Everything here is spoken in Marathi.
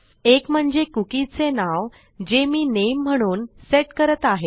एक म्हणजे cookieचे नाव जे मी नामे म्हणून सेट करत आहे